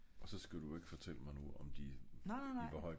og så skal du ikke fortælle mig nu om de i hvor høj en grad